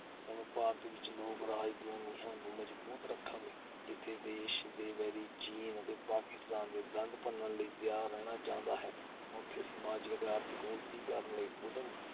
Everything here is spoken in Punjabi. ਹੁਣ ਭਾਰਤ ਵਿਚ ਲੋਕ-ਰਾਜ ਦੀਆਂ ਨੀਹਾਂ ਨੂੰ ਮਜ਼ਬੂਤ ਰੱਖਣ ਲਈ, ਜਿੱਥੇ ਦੇਸ਼ ਦੇ ਵੈਰੀ ਚੀਨ ਅਤੇ ਪਾਕਿਸਤਾਨ ਦੇ ਦੰਦ ਭੰਨਣ ਲਈ ਤਿਆਰ ਰਹਿਣਾ ਚਾਹੀਦਾ ਹੈ, ਉੱਥੇ ਸਮਾਜਿਕ ਅਤੇ ਆਰਥਿਕ ਉੱਨਤੀ ਕਰਨ ਲਈ ਉੱਦਮ